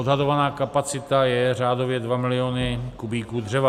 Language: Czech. Odhadovaná kapacita je řádově 2 milionů kubíků dřeva.